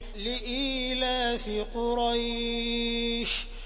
لِإِيلَافِ قُرَيْشٍ